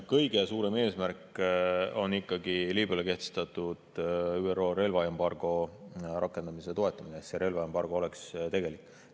Kõige suurem eesmärk on ikkagi Liibüale kehtestatud ÜRO relvaembargo rakendamise toetamine, nii et see relvaembargo oleks tegelik.